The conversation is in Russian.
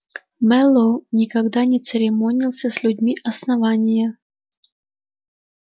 мэллоу никогда не церемонился с людьми основания